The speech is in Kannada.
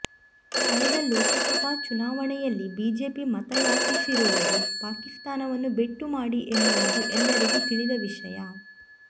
ಕಳೆದ ಲೋಕಸಭಾಚುನಾವಣೆಯಲ್ಲಿ ಬಿಜೆಪಿ ಮತ ಯಾಚಿಸಿರುವುದು ಪಾಕಿಸ್ತಾನವನ್ನು ಬೆಟ್ಟು ಮಾಡಿ ಎನ್ನುವುದು ಎಲ್ಲರಿಗೂ ತಿಳಿದ ವಿಷಯ